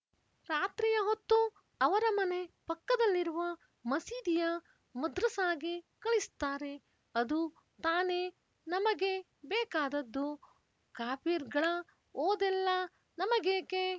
ರಾತ್ರಿಯ ಹೊತ್ತು ಅವರ ಮನೆ ಪಕ್ಕದಲ್ಲಿರುವ ಮಸೀದಿಯ ಮದ್ರಸಾಗೆ ಕಳಿಸ್ತಾರೆ ಅದು ತಾನೇ ನಮಗೆ ಬೇಕಾದದ್ದು ಕಾಫಿರ್‍ಗಳ ಓದೆಲ್ಲ ನಮಗೇಕೆ